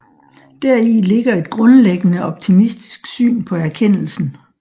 Deri ligger et grundlæggende optimistisk syn på erkendelsen